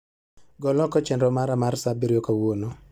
Gol oko chenro mara mar saa abirio kawuono